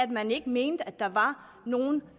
man ikke mente at der er nogen